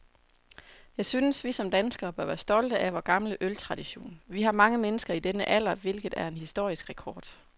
Jeg synes, vi som danskere bør være stolte af vor gamle øltradition. Vi har mange mennesker i denne alder, hvilket er en historisk rekord.